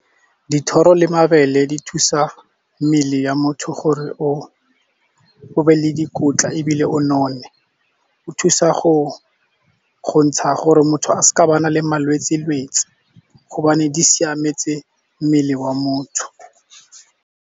Dithoro le mabele di thusa mmele ya motho gore o be le dikotla, ebile o none. O thusa go ntsha gore motho a se ka ba le malwetse-lwetse gobane di siametse mmele wa motho.